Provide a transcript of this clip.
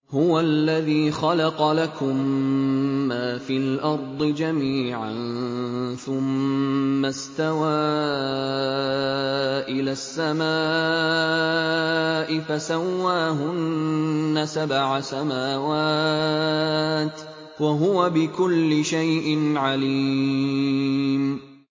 هُوَ الَّذِي خَلَقَ لَكُم مَّا فِي الْأَرْضِ جَمِيعًا ثُمَّ اسْتَوَىٰ إِلَى السَّمَاءِ فَسَوَّاهُنَّ سَبْعَ سَمَاوَاتٍ ۚ وَهُوَ بِكُلِّ شَيْءٍ عَلِيمٌ